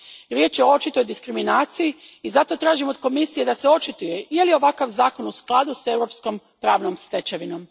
Riječ je o očitoj diskriminaciji i zato tražim od Komisije da se očituje je li ovakav zakon u skladu s europskom pravnom stečevinom.